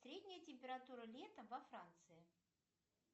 средняя температура лета во франции